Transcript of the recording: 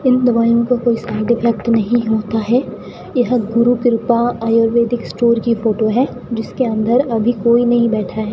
इन दवाइयों का कोई साइड इफेक्ट नहीं होता है यह गुरु कृपा आयुर्वैदिक स्टोर की फोटो है जिसके अंदर अभी कोई नहीं बैठा है।